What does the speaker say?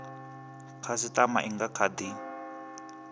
khasitama i nga kha di